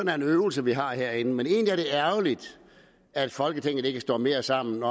er en øvelse vi har herinde men egentlig er det ærgerligt at folketinget ikke står mere sammen